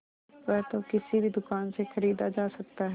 वह तो किसी भी दुकान से खरीदा जा सकता है